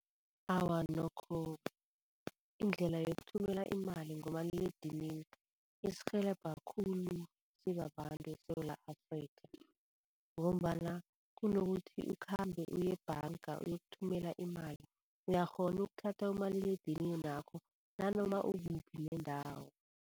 Awa nokho indlela yokuthumela imali ngomaliledinini isirhelebha khulu sibabantu eSewula Afrikha ngombana kunokuthi ukhambe uye ebhanga uyokuthumela imali uyakghona ukuthatha umaliledininakho nanoma ukuphi nendawo.